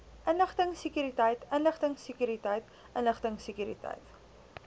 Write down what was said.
inligtingsekuriteit inligtingsekuriteit inligtingsekuriteit